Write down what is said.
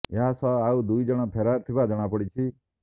ଏହା ସହ ଆଉ ଦୁଇ ଜଣ ଫେରାର ଥିବା ଜଣାପଡ଼ିଛି